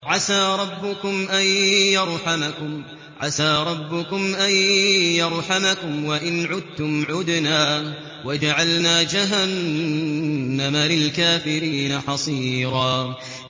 عَسَىٰ رَبُّكُمْ أَن يَرْحَمَكُمْ ۚ وَإِنْ عُدتُّمْ عُدْنَا ۘ وَجَعَلْنَا جَهَنَّمَ لِلْكَافِرِينَ حَصِيرًا